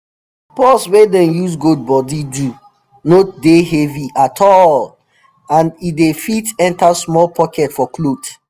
purse wey dem use goat bodi do no dey heavy at all and e dey fit enter small pocket for cloth